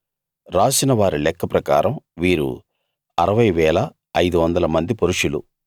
రాసిన వారి లెక్క ప్రకారం వీరు 60 500 మంది పురుషులు